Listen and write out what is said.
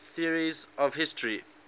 theories of history